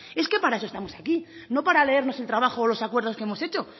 es que para eso estamos aquí no para leernos el trabajo o los acuerdos que hemos hecho